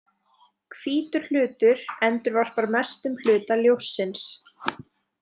„Hvítur hlutur“ endurvarpar mestum hluta ljóssins.